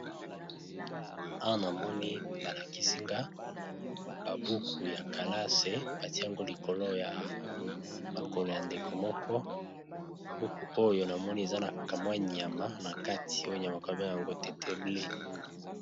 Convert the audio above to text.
Awa, na moni ba lakisi nga, ba buku ya kalase. Ba tie yango likolo ya makolo ya ndeko moko. Buku oyo na moni eza na kamwa nyama na kati. Oyo nyama ba bengaka yango teteble.